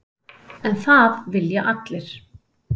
En það vilja allir.